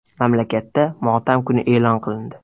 Mamlakatda motam kuni e’lon qilindi.